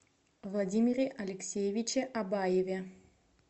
владимире алексеевиче абаеве